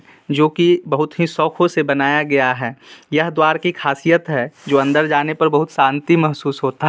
जो की बहुत ही शौखो से बनाया गया है | यह द्वार की खासियत है जो अंदर जाने पर बहुत शांति महसूस होता--